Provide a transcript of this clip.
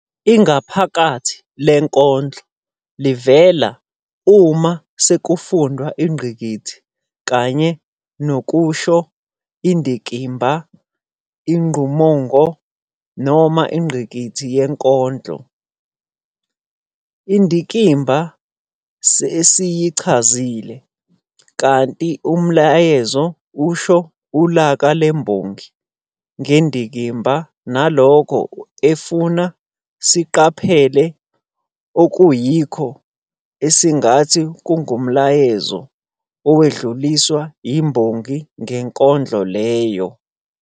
Ingaphakathi lenkondlo livela uma sekufundwa ingqikithi kanye nokushi Indikimba ingumongo noma ingqikithi yenkondlo. Indikimba sesiyichazile, kanti umyalezo usho ilaka lembongi ngendikimba nalokho efuna sikuqaphele okuyikhona esingathi kungumyalezo owedluliswa yimbongi ngenkondlo leyo.